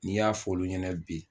N'i y'a f'olu ɲɛna bi